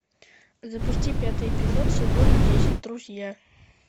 запусти пятый эпизод сезона десять друзья